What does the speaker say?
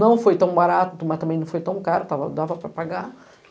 não foi tão barato, mas também não foi tão caro, dava dava para pagar.